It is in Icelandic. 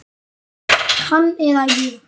Hann eða ég.